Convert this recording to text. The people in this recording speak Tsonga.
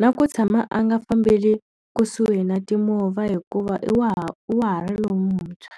Na ku tshama a nga fambeli kusuhi na timovha hikuva i wa ha i wa ha ri lon'wuntshwa.